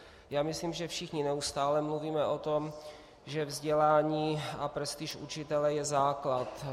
Já myslím, že všichni neustále mluvíme o tom, že vzdělání a prestiž učitele je základ.